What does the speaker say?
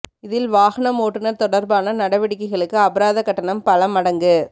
இதில் வாகனம் ஓட்டுனர் தொடர்பான நடவடிக்கைகளுக்கு அபராத கட்டணம் பல மடங்கு